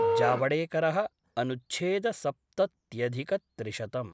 जावडेकर:अनुच्छेद सप्तत्यधिकत्रिशतम्